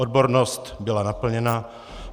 Odbornost byla naplněna.